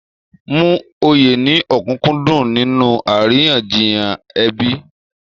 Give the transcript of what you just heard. Mú òye ní òkúnkúndùn nínú àríyànjiyàn ẹbí.